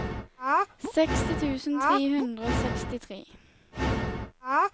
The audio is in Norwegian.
seksti tusen tre hundre og sekstitre